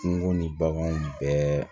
Kungo ni baganw bɛɛ